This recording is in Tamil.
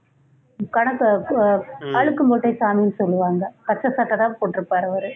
கணக்க அஹ் அழுக்கு மூட்டை சாமினு சொல்லுவாங்க பச்சை சட்டை தான் போட்டிருப்பாரு அவரு